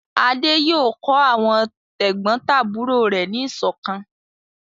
Adé yóò kọ́ àwọn tẹ̀gbọ́ntàbúrò rẹ̀ ní ìṣọ̀kan!